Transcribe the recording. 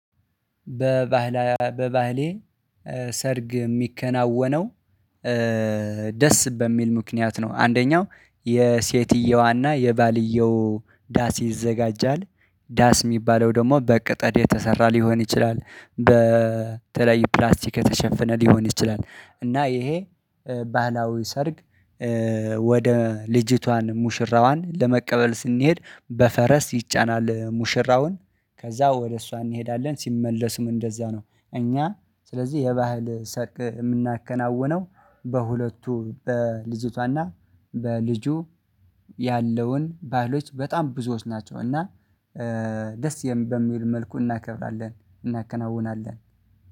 በባህሌ ሰርግ የሚከናወነው ደስ በሚል ምክንያት ነው፤ አንደኛው የሴትየዋና የባልየው ዳስ ይዘጋጃል፤ ዳስ የሚባለው ደግሞ በቅጠል የተሰራ ሊሆን ይችላል፤ በተለይ በተለያዩ ፕላስቲክ የተሸፈነ ሊሆን ይችላል። እና ይሄ ባህላዊ ሰርግ ወደ ልጅቷን ሙሽራዋን ለመቀበል ስንሄድ በፈረስ ይጫናል ሙሽራውን ከዛ ወደ እሷ እንሄዳለን ሲመለሱም እንደዛ ነው። እኛ ስለዚህ የባህል ሰርግ የምናከናውነው፤ በሁለቱ በልጅቷና በልጁ ያለውን ባህሎች በጣም ብዙዎች ናቸው እና ደስ በሚል መልኩ እናከብራለን እናከናውናለን።